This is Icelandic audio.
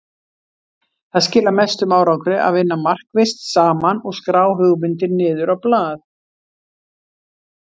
Það skilar mestum árangri að vinna markvisst saman og skrá hugmyndir niður á blað.